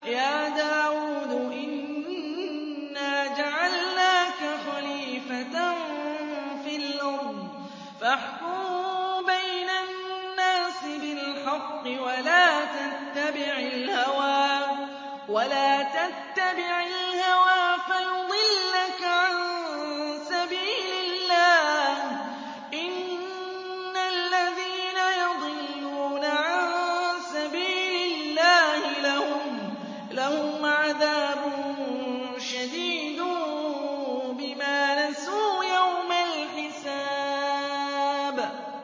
يَا دَاوُودُ إِنَّا جَعَلْنَاكَ خَلِيفَةً فِي الْأَرْضِ فَاحْكُم بَيْنَ النَّاسِ بِالْحَقِّ وَلَا تَتَّبِعِ الْهَوَىٰ فَيُضِلَّكَ عَن سَبِيلِ اللَّهِ ۚ إِنَّ الَّذِينَ يَضِلُّونَ عَن سَبِيلِ اللَّهِ لَهُمْ عَذَابٌ شَدِيدٌ بِمَا نَسُوا يَوْمَ الْحِسَابِ